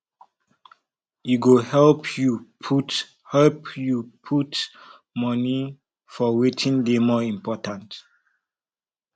e go help yu put help yu put moni for wetin dey more important